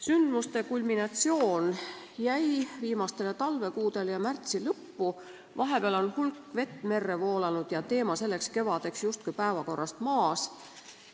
Sündmuste kulminatsioon jäi viimastele talvekuudele ja märtsi lõppu, vahepeal on hulk vett merre voolanud ja teema selleks kevadeks justkui päevakorrast maas.